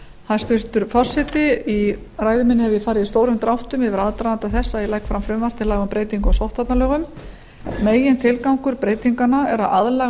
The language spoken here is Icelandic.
hæstvirtur forseti í ræðu minni hef ég farið í stórum dráttum yfir aðdraganda þess að ég legg fram frumvarp til laga um breytingu á sóttvarnalögum megintilgangur breytinganna er að aðlaga